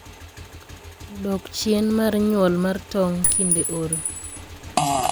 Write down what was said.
dok chin mar nyuol mar tong' kinde oro.